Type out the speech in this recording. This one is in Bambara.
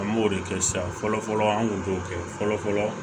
An b'o de kɛ sisan fɔlɔ fɔlɔ an kun b'o kɛ fɔlɔ fɔlɔ